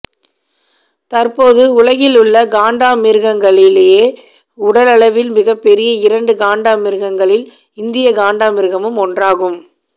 தற்போது உலகிலுள்ள காண்டாமிருகங்களிலேயே உடலளவில் மிகப்பெரிய இரண்டு காண்டாமிருகங்களில் இந்திய காண்டாமிருகமும் ஒன்றாகும்